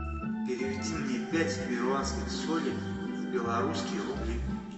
переведи мне пять перуанских солей в белорусские рубли